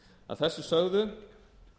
að þessu sögðu